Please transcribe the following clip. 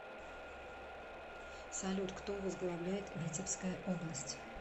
салют кто возглавляет витебская область